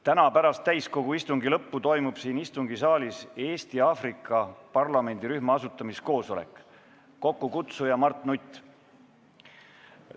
Täna pärast täiskogu istungi lõppu toimub siin istungisaalis Eesti-Aafrika parlamendirühma asutamiskoosolek, kokkukutsuja on Mart Nutt.